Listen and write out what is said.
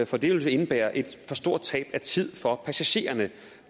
for det vil indebære et for stort tab af tid for passagererne